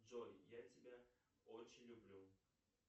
джой я тебя очень люблю